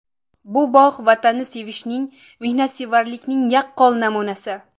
Bu bog‘ Vatanni sevishning, mehnatsevarlikning yaqqol namunasi.